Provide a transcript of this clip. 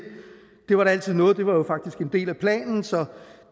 det var da altid noget det var jo faktisk en del af planen så